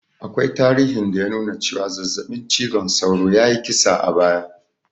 Akwai tarihin da ya nuna cewa zazzaɓin cizon sauro ya yi kisa a baya